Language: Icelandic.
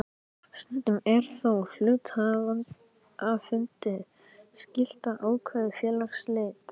Stundum er þó hluthafafundi skylt að ákveða félagsslit.